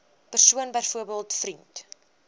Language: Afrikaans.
persoon byvoorbeeld vriend